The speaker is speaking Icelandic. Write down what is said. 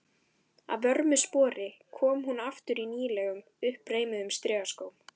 Að vörmu spori kom hún aftur í nýlegum, uppreimuðum strigaskóm.